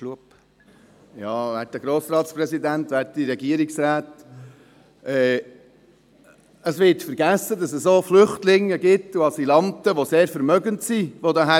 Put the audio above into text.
Es wird vergessen, dass auch Flüchtlinge und Asylanten, die sehr vermögend sind, hierherkommen.